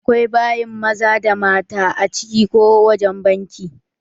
Akwai bayin maza da na mata a ciki ko wajen bankin.